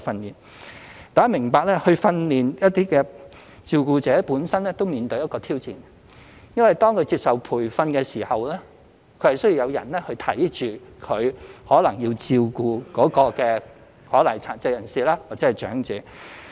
大家要明白，要訓練一些照顧者，本身也面對一個挑戰，因為當他們接受培訓時，可能需要有人看管需要其照顧的殘疾人士或長者。